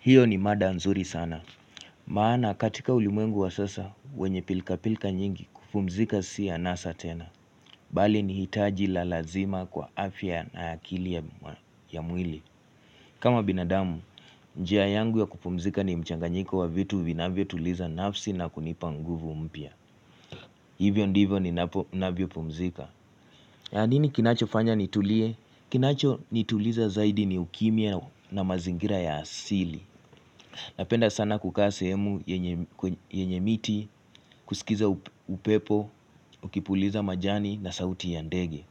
Hiyo ni mada nzuri sana maana katika ulimwengu wa sasa wenye pilka pilka nyingi kupumzika si anasa tena Bali ni hitaji la lazima kwa afya na akili ya mwili kama binadamu njia yangu ya kupumzika ni mchanga nyingu wa vitu vinavyo tuliza nafsi na kunipanguvu mpia Hivyo ndivyo ni navyo pumzika nini kinacho fanya nitulie? Kinacho nituliza zaidi ni ukimya na mazingira ya asili Napenda sana kukaa sehemu yenye miti, kusikiza upepo, ukipuliza majani na sauti yandege.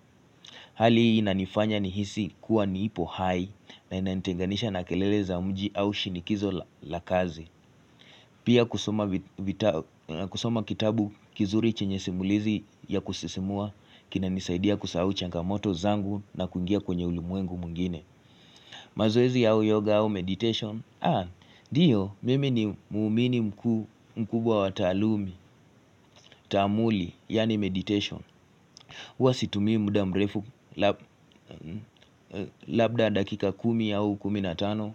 Hali hii na nifanya ni hisi kuwa niipo high na inaniteganisha na kelele za umji au shinikizo la kazi. Pia kusoma kitabu kizuri chenye simulizi ya kusisimua kina nisaidia kusau changa moto zangu na kungia kwenye ulimwengu mwingine. Mazoezi yao yoga au meditation Haa, diyo mimi ni muumini mkubwa watalumi Tamuli, yani meditation Uwasitumi muda mrefu Labda dakika kumi yao kuminatano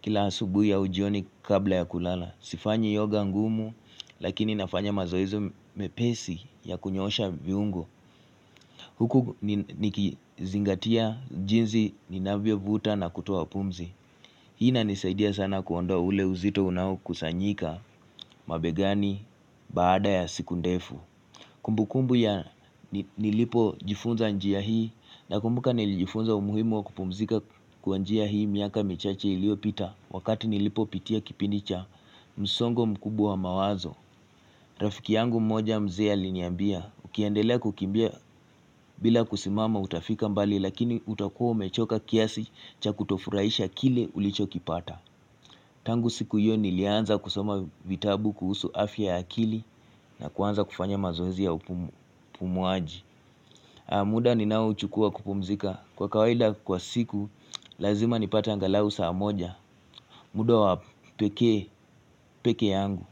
Kila asubuhi ya ujioni kabla ya kulala Sifanyi yoga ngumu Lakini nafanya mazoezi mepesi ya kunyosha viungo Huku nikizingatia jinzi ninavyo vuta na kutuwa pumzi Hii na nisaidia sana kuwandoa ule uzito unau kusanyika mabegani baada ya siku ndefu Kumbukumbu ya nilipojifunza njia hii na kumbuka nilijifunza umuhimu wa kupumzika kwa njia hii miaka michache iliopita Wakati nilipo pitia kipinicha msongo mkubu wa mawazo Rafiki yangu mmoja mzea liniambia ukiandelea kukimbia bila kusimama utafika mbali lakini utakuwa umechoka kiasi cha kutofuraisha kile ulicho kipata Tangu siku hiyo nilianza kusoma vitabu kuhusu afya ya akili na kuanza kufanya mazoezi ya upumuaji muda ni nao chukua kupumzika kwa kawaida kwa siku lazima nipata angalau saa moja muda wa peke peke yangu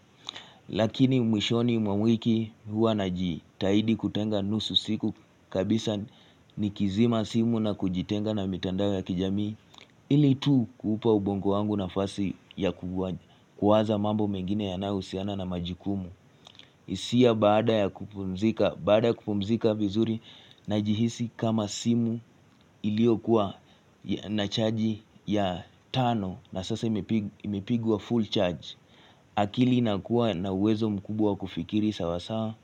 Lakini mwishoni mwa wiki hua na jitaidi kutenga nusu siku kabisa ni kizima simu na kujitenga na mitandao ya kijamii ili tu kupa ubongo wangu nafasi ya kuwaza mambo mengine ya nahusiana na majikumu isia baada ya kupumzika vizuri na jihisi kama simu ilio kuwa na charge ya tano na sasa imipigwa full charge akili na kuwa na uwezo mkubwa kufikiri sawasawa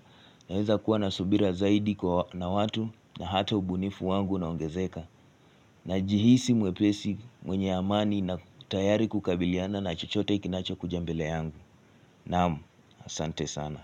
na uweza kuwa na subira zaidi kwa na watu na hato ubunifu wangu na ongezeka na jihisi mwepesi mwenye amani na tayari kukabiliana na chochote ikinacho kujambele yangu Namu, sante sana.